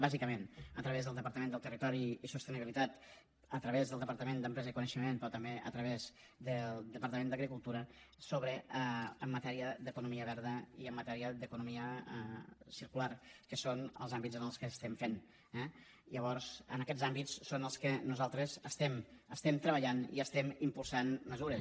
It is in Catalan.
bàsicament a través del departament de territori i sostenibilitat a través del departament d’empresa i coneixement però també a través del departament d’agricultura en matèria d’economia verda i en matèria d’economia circular que són els àmbits en els que estem fent eh llavors en aquests àmbits són en els que nosaltres estem treballant i estem impulsant mesures